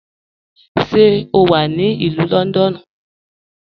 Ṣé o wà ní Ilù Lọ́ndọ́nù?